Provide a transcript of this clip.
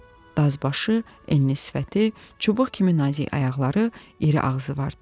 Dazbaşı, enli sifəti, çubuq kimi nazik ayaqları, iri ağzı vardı.